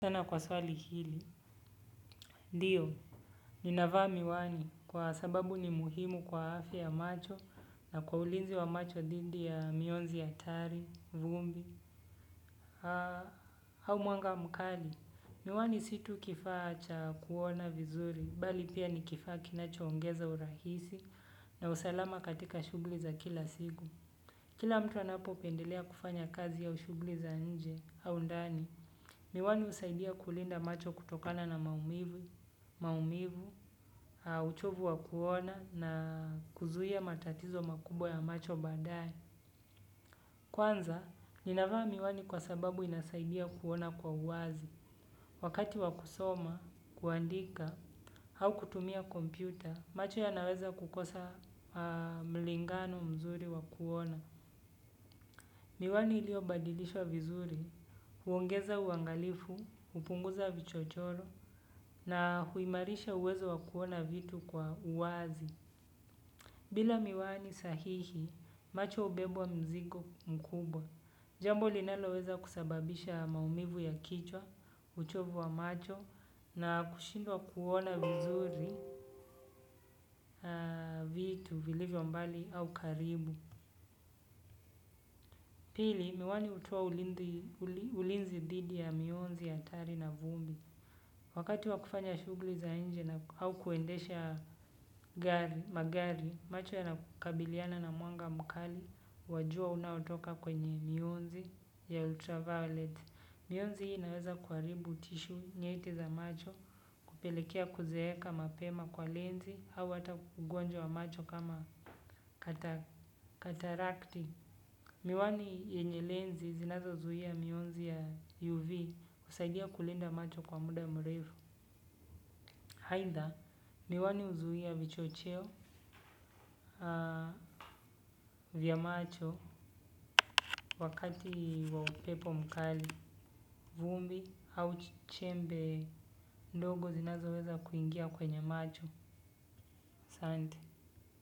Sana kwa swali hili, ndiyo, ninavaa miwani kwa sababu ni muhimu kwa afya ya macho na kwa ulinzi wa macho dhidi ya mionzi hatari, vumbi, au mwanga mkali. Miwani si tu kifaa cha kuona vizuri, bali pia ni kifaa kinachoongeza urahisi na usalama katika shughuli za kila siku. Kila mtu anapopendelea kufanya kazi au shughuli za nje au ndani. Miwani husaidia kulinda macho kutokana na maumivu, uchovu wa kuona na kuzuia matatizo makubwa ya macho baadae kwanza ninavaa miwani kwa sababu inasaidia kuona kwa uwazi. Wakati wakusoma, kuandika, au kutumia kompyuta, macho yanaweza kukosa mlingano mzuri wa kuona. Miwani iliobadilishwa vizuri, huongeza uangalifu, hupunguza vichochoro, na huimarisha uwezo wa kuona vitu kwa uwazi. Bila miwani sahihi, macho hubebwa mzigo mkubwa. Jambo linaloweza kusababisha maumivu ya kichwa, uchovu wa macho, na kushindwa kuona vizuri vitu vilivyo mbali au karibu. Pili, miwani hutuoa ulinzi dhidi ya mionzi hatari na vumbi. Wakati wa kufanya shughuli za nje au kuendesha magari, macho yanakabiliana na mwanga mkali, wa jua unaotoka kwenye mionzi ya ultraviolet. Mionzi hii inaweza kuharibu tishu nyeti za macho, kupelekea kuzeeka mapema kwa lenzi, hau hata ugonjwa wa macho kama katarakti. Miwani yenye lezi zinazozuia mionzi ya UV husaidia kulinda macho kwa muda mrefu. Haidha, miwani huzuia vichocheo vya macho wakati wa upepo mkali, vumbi au chembe ndogo zinazoweza kuingia kwenye macho. Aante.